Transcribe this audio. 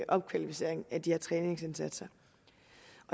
opkvalificering af de her træningsindsatser